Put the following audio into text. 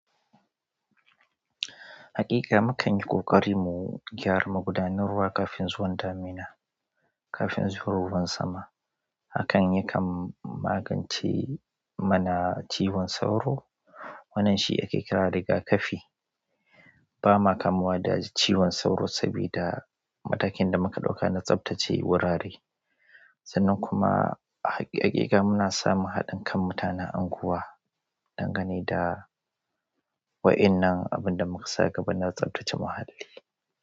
Haƙiƙa mukan yi ƙoƙari mu gyara magudanun ruwa kafin zuwan damina, kafin zuwa ruwan sama. Hakan yakan magance mana ciwon sauro. Wannan shi ake kira riga-kafi. Bama kamuwa da ciwon sauro sabida matakin da muka ɗauka na tsaftache wurare. Sannan kuma haƙiƙa muna samun haɗin kan mutanen anguwa dangane da wa ennan abun da mukasa gaba na tsaftace muhalli.